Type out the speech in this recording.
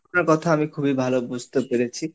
আপনার কথা আমি খুবই ভালো বুঝতে পেরেছি।